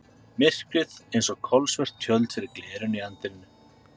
Myrkrið eins og kolsvört tjöld fyrir glerinu í anddyrinu.